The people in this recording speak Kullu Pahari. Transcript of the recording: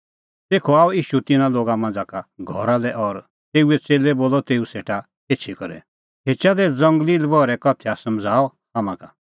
तेखअ आअ ईशू तिन्नां लोगा मांझ़ा का घरा लै और तेऊए च़ेल्लै बोलअ तेऊ सेटा एछी करै खेचा दी ज़ंगली लबहरैओ उदाहरण समझ़ाऊ हाम्हां का